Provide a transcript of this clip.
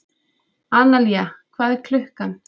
Analía, hvað er klukkan?